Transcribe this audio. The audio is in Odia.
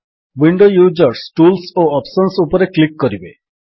ୱିଣ୍ଡୋ ୟୁଜର୍ସ ଟୁଲ୍ସ ଓ ଅପ୍ସନ୍ସ ଉପରେ କ୍ଲିକ୍ କରିବେ